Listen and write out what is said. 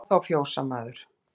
Hló þá fjósamaður.